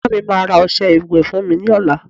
Ìyá mi máa ra ọsẹ ìwẹ́ fún mi lọ́la